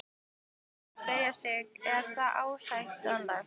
Og þá má spyrja sig, er það ásættanlegt?